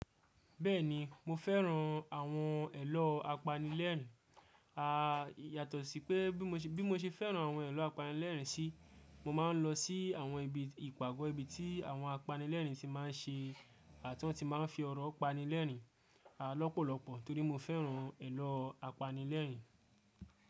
Bẹ́ẹ̀ni mo fẹ́ran àwọn ẹ̀lọ apanilẹ́rìn-ín. À yàtọ̀ sí pé bí mo ṣe fẹ́ran àwọn ẹ̀lọ apanilẹ́rìn-ín sí, mo máa ń lọ sí àwọn ibi ìpàgọ́ ibi tí àwọn apanilẹ́rìn-ín ti máa ń ṣe àtún ti máa ń fi ọ̀rọ̀ pani lẹ́rìn-ín lọ́pọ̀lọpọ̀ torí mo fẹ́ran ẹ̀lọ apanilẹ́rìn-ín.